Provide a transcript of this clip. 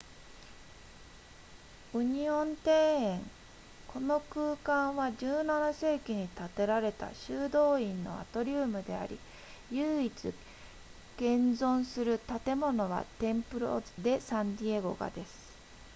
ウニオン庭園この空間は17世紀に建てられた修道院のアトリウムであり唯一現存する建物はテンプロデサンディエゴがです